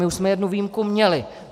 My už jsme jednu výjimku měli.